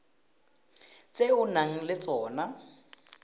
tse o nang le tsona